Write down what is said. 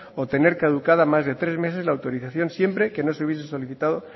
o tener caducada más de tres meses la autorización siempre que no se hubiese solicitado